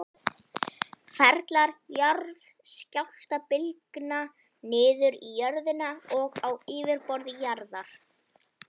Ferlar jarðskjálftabylgna niður í jörðinni og á yfirborði jarðar.